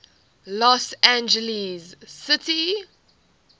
los angeles city